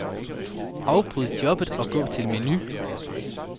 Afbryd jobbet og gå til menu.